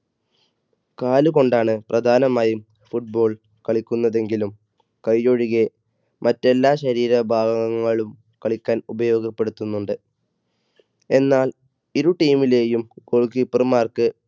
കാല് കൊണ്ടാണ് പ്രധാനമായും football കളിക്കുന്നതെങ്കിലും കൈ ഒഴികെ മറ്റെല്ലാ ശരീര ഭാഗങ്ങളും കളിക്കാൻ ഉപയോഗപ്പെടുത്തുന്നുണ്ട്, എന്നാൽ ഇരു team ലെയും goal keeper മാർക്ക്,